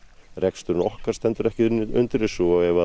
reksturinn okkar stendur ekki undir þessu og ef að